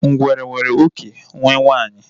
Ngwere nwere oké nwe nwunye